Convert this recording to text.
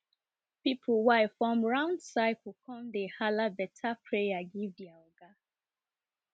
people wife form round circle come dey hala better prayer give dier oga